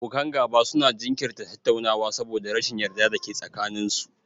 Abokan gaba su na jinkirta tattaunawa saboda rashin yarda da ke tsakanin su